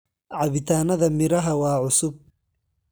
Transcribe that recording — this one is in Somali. Cabitaanada miraha waa cusub